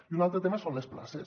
i un altre tema són les places